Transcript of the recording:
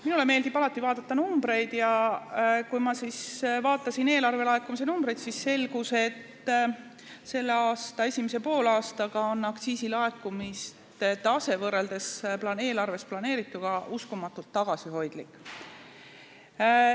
Minule meeldib alati vaadata numbreid ja kui ma vaatasin eelarvelaekumisi, siis selgus, et selle aasta esimese poolaasta aktsiisilaekumiste tase on võrreldes eelarves planeerituga uskumatult tagasihoidlik.